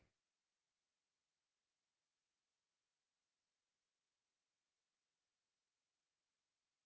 to